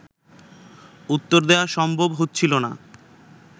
উত্তর দেয়া সম্ভব হচ্ছিল না